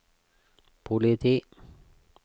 politi